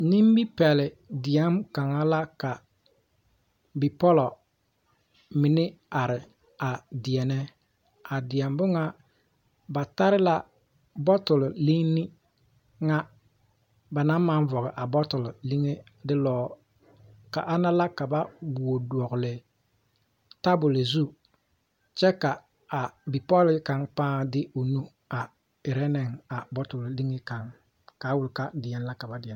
Nimipɛle deɛm kaŋa la ka bipɔlo mine are a deɛnɛ a deɛbo ŋa ba tare la bottle linni ŋa ba naŋ maŋ vɔge a bottle liŋe delɔɔ ka ana la ka ba wuo dɔgle taboli zu kyɛ ka a bipɔlee kaŋ paa de o nu a erɛ neŋ a bottle liŋe kaŋ kaa wuli ka deɛne la ka ba deɛnɛ.